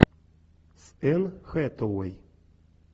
с энн хэтэуэй